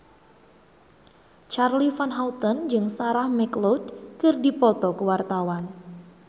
Charly Van Houten jeung Sarah McLeod keur dipoto ku wartawan